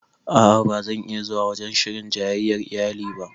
A'a ba zan iya zuwa wajen shirin jayyayar iyali ba